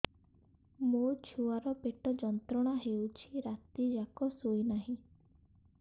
ମୋ ଛୁଆର ପେଟ ଯନ୍ତ୍ରଣା ହେଉଛି ରାତି ଯାକ ଶୋଇନାହିଁ